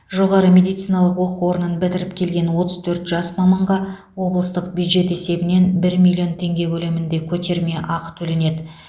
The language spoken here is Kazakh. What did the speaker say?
жоғары медициналық оқу орнын бітіріп келген отыз төрт жас маманға облыстық бюджет есебінен бір миллион теңге көлемінде көтермеақы төленеді